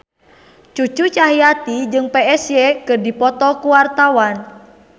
Cucu Cahyati jeung Psy keur dipoto ku wartawan